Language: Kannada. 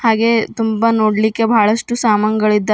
ಹಾಗೆ ನೋಡ್ಲಿಕ್ಕೆ ತುಂಬಾ ಬಹಳಷ್ಟು ಸಾಮಾನ್ಗಳಿದ್ದಾವೆ.